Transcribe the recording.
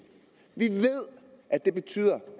ved at det betyder